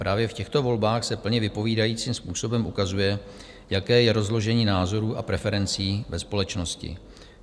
Právě v těchto volbách se plně vypovídajícím způsobem ukazuje, jaké je rozložení názorů a preferencí ve společnosti.